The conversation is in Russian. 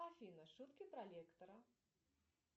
афина шутки про лектора